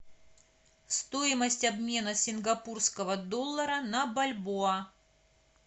стоимость обмена сингапурского доллара на бальбоа